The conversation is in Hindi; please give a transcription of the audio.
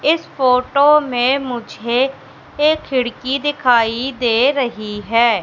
इस फोटो में मुझे एक खिड़की दिखाई दे रही है।